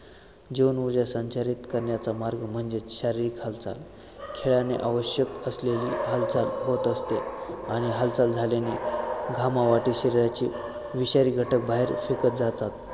जीवनऊर्जा संचारीत करण्याचा मार्ग म्हणजेच शारीरिक हालचाल खेळानेआवश्यक असलेली हालचाल होत असते आणि हालचाल झाल्याने घामावाटे शरीराची विषारी घटक बाहेर फेकत जातात